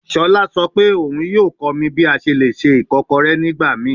Shola sọ pe oun yoo kọ mi bi a ṣe le ṣe ikokore nigbamii